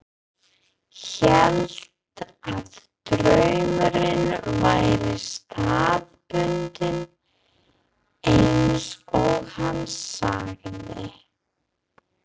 Hélt að draumurinn væri staðbundinn, eins og hann sagði.